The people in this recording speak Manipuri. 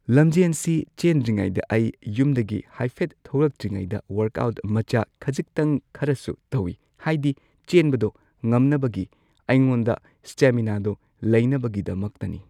ꯂꯝꯖꯦꯟꯁꯤ ꯆꯦꯟꯗ꯭ꯔꯤꯉꯩꯗ ꯑꯩ ꯌꯨꯝꯗꯒꯤ ꯍꯥꯏꯐꯦꯠ ꯊꯣꯛꯂꯛꯇ꯭ꯔꯤꯉꯩꯗ ꯋꯔꯛ ꯑꯥꯎꯠ ꯃꯆꯥ ꯈꯖꯤꯛꯇꯪ ꯈꯔꯁꯨ ꯇꯧꯢ ꯍꯥꯏꯗꯤ ꯆꯦꯟꯕꯗꯣ ꯉꯝꯅꯕꯒꯤ ꯑꯩꯉꯣꯟꯗ ꯁ꯭ꯇꯦꯃꯤꯅꯥꯗꯣ ꯂꯩꯅꯕꯒꯤꯗꯃꯛꯇꯅꯤ ꯫